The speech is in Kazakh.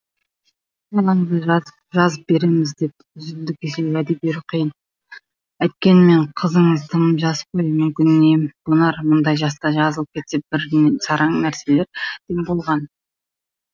балаңызды жазып береміз деп үзілді кесілді уәде беру қиын әйткенмен қызыңыз тым жас қой мүмкін ем қонар мұндай жаста жазылып кеткен бірен саран нәрестелер де болған